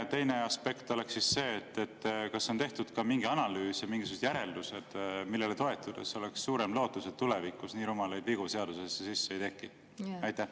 Ja teine aspekt on see: kas on tehtud mingi analüüs ja mingisugused järeldused, millele toetudes oleks suurem lootus, et tulevikus nii rumalaid vigu seadusesse sisse ei satu?